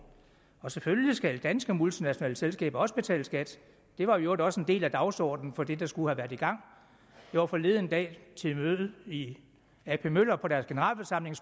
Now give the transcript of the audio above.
selvfølgelig skal de danske multinationale selskaber også betale skat det var i øvrigt også en del af dagsordenen for det der skulle have været i gang jeg var forleden dag til et møde i ap møller på deres generalforsamling